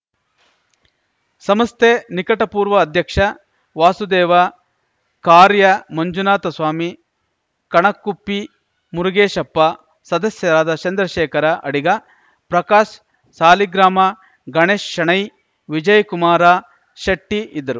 ಸಂಸ್ಥೆ ನಿಕಟ ಪೂರ್ವ ಅಧ್ಯಕ್ಷ ವಾಸುದೇವ ಕಾರ್ಯ ಮಂಜುನಾಥ ಸ್ವಾಮಿ ಕಣಕುಪ್ಪಿ ಮುರುಗೇಶಪ್ಪ ಸದಸ್ಯರಾದ ಚಂದ್ರಶೇಖರ ಅಡಿಗ ಪ್ರಕಾಶ್ ಸಾಲಿಗ್ರಾಮ ಗಣೇಶ ಶೆಣೈ ವಿಜಯಕುಮಾರ ಶೆಟ್ಟಿಇದ್ದರು